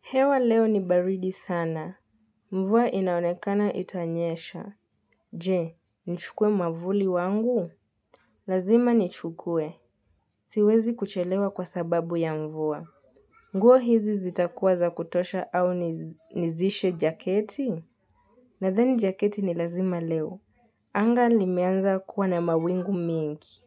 Hewa leo ni baridi sana. Mvua inaonekana itanyesha. Je, nchukue mavuli wangu? Lazima nichukue. Siwezi kuchelewa kwa sababu ya mvua. Nguo hizi zitakuwa za kutosha au nizishe jaketi? Nadhani jaketi ni lazima leo. Anga limeanza kuwa na mawingu mingi.